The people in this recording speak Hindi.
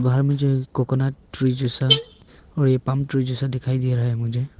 बाहर में जो है कोकोनट ट्री जैसा और ये पॉम ट्री जैसा दिखाई दे रहा है मुझे--